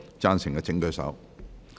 贊成的請舉手。